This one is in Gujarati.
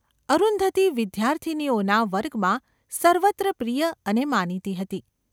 અરુંધતી વિદ્યાર્થિનીઓના વર્ગમાં સર્વત્ર પ્રિય અને માનીતી હતી.